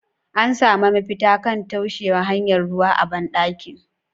An sami mafita kan taushewa hanyar ruwa a ban dakin?.